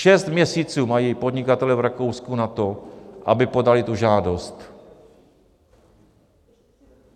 Šest měsíců mají podnikatelé v Rakousku na to, aby podali tu žádost.